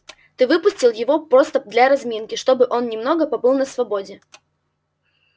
ты выпустил его просто для разминки чтобы он немного побыл на свободе